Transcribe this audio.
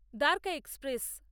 Dwarka express